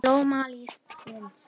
Í blóma lífsins